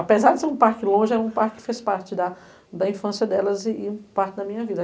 Apesar de ser um parque longe, era um parque que fez parte da da infância delas e e parte da minha vida.